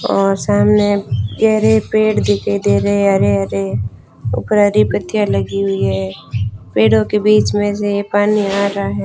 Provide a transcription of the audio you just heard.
और सामने गहरे पेड़ दिखाई दे रहे हरे हरे उपर हरी पत्तियां लगी हुई हैं पेड़ों के बीच में से ये पानी आ रहा है।